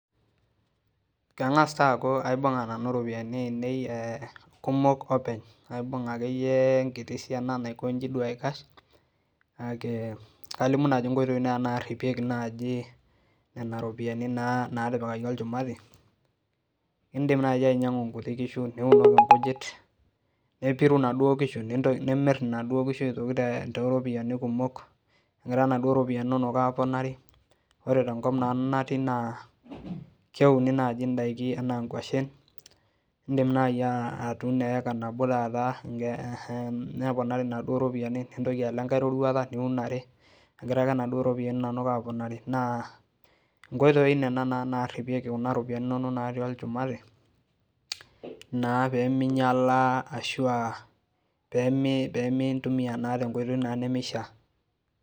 kangas taa aku aibunga nanu iropian ee ainei kumok openy abunga akeyie enkiti siana, naikoji akeyie aikash, kake kalimu naji inkoitoi natipikaki nena ropiani natipikaki olshumati, indim naaji ainyiangu, nkuti kishu, niun inkujit, nepiru inaduo kishu, nimir inaduo kishu toropiani kumok, engira naduo ropiani inono aponari, ore tenkop nanu natii, na keuni naji indaiki ena naji inkuashen, indim naji atuno eka naji nabo tata, neponari inaduo ropiani nintoki alo enkae roruata niun are, engira ake naduo ropiani inono aponari, na ingotoi na nena naripieki nena ropiani inono nati olshumati peyie mintumia na iropiani inono na tenkoitoi nemishaa,